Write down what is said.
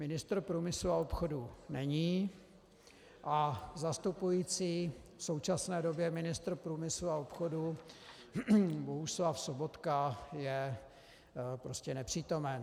Ministr průmyslu a obchodu není a zastupující v současné době ministr průmyslu a obchodu Bohuslav Sobotka je prostě nepřítomen.